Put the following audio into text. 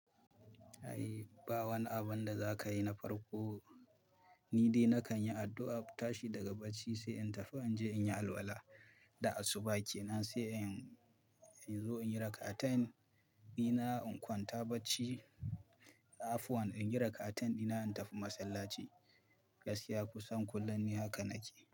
Ai ba wani abun da za ka yi na farko Ni dai nakan yi addu'a, tashi daga bacci sai in tafi in je in yi alwala. Da asuba ke nan sai in zo in yi raka atain ɗina in kwanta bacci. Afuwan in yi raka atain ɗina in tafi masallaci. Gaskiya kusan kullum ni haka nake.